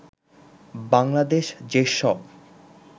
বাংলাদেশ যেসব